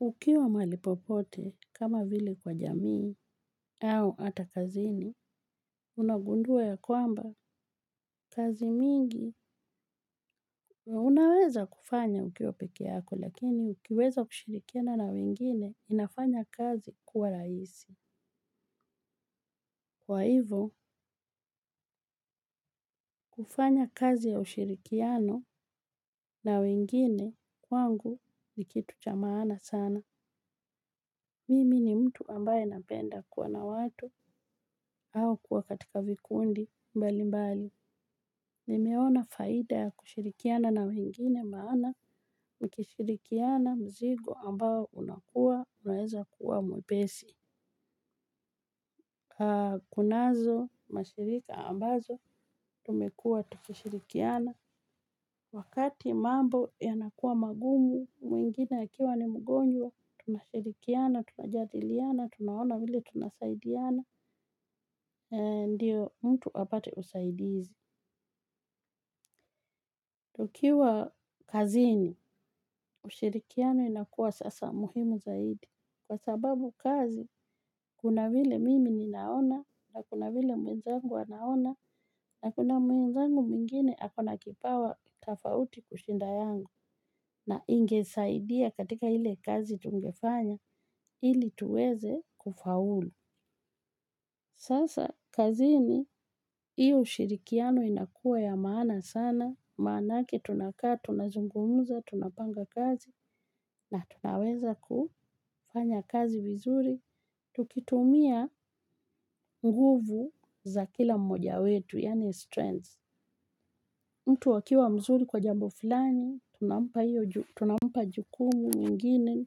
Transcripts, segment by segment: Ukiwa maali popote, kama vile kwa jamii, au hata kazini, unagundua ya kwamba kazi mingi, unaweza kufanya ukiwa peke yako. Lakini, ukiweza kushirikiana na wengine, inafanya kazi kuwa raisi. Kwa hivo, kufanya kazi ya ushirikiano, na wengine, kwangu nikitucha manaa sana. Mimi ni mtu ambaye napenda kuwa na watu, au kuwa katika vikundi mbali mbali. Nimeona faida ya kushirikiana na wengine, maana, mkishirikiana mzigo ambao unakua, unaeza kuwa mwepesi. Kunazo mashirika ambazo, tumekua tukishirikiana, wakati mambo yanakua magumu, mwingine akiwa ni mgonjwa tunashirikiana, tunajadiliana, tunaona vile tunasaidiana. Ndio mtu apate usaidizi. Tukiwa kazini, ushirikiano inakua sasa muhimu zaidi. Kwa sababu kazi, kuna vile mimi ninaona na kuna vile mwenzangu anaona na kuna mwenzangu mwingine akona kipawa tafauti kushinda yangu na ingesaidia katika ile kazi tungefanya, ili tuweze kufaulu. Sasa, kazini, iyo ushirikiano inakua ya maana sana, maanake tunakaa, tunazungumuza, tunapanga kazi, na tunaweza kufanya kazi vizuri, tukitumia nguvu, za kila mmoja wetu, yani strengths. Mtu akiwa mzuri kwa jambo fulani, tunampa jukumu mwingine,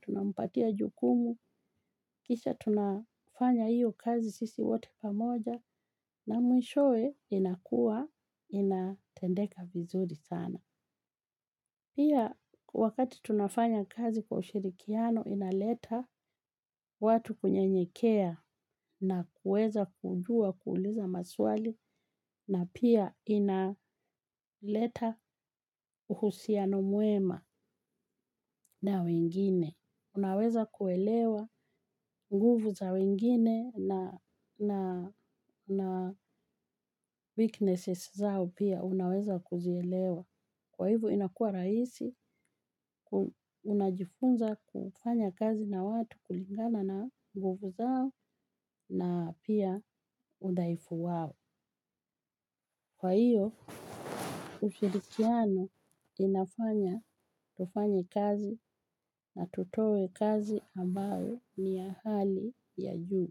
tunampatia jukumu, kisha tunafanya iyo kazi sisi wote pamoja na mwishoe inakua inatendeka vizuri sana. Pia, wakati tunafanya kazi kwa ushirikiano, inaleta watu kunye nyekea na kueza kujua kuuliza maswali na pia inaleta uhusiano mwema. Na wengine. Unaweza kuelewa, nguvu za wengine na weaknesses zao pia unaweza kuzielewa. Kwa hivo inakua raisi, unajifunza kufanya kazi na watu kulingana na, nguvu zao na pia udhaifu wao. Kwa hiyo, ushirikiano, inafanya, tufanye kazi na tutoe kazi ambayo ni ya hali, ya juu.